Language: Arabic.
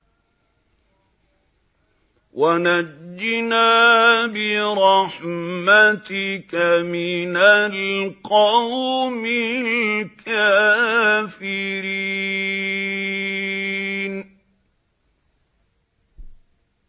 وَنَجِّنَا بِرَحْمَتِكَ مِنَ الْقَوْمِ الْكَافِرِينَ